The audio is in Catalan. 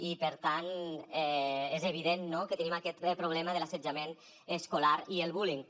i per tant és evident no que tenim aquest problema de l’assetjament escolar i el bullying